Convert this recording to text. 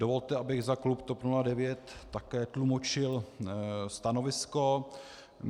Dovolte, abych za klub TOP 09 také tlumočil stanovisko.